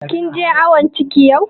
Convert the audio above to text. Kin je awon ciki jiya?